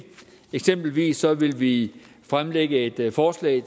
eksempelvis ville vi fremlægge et forslag i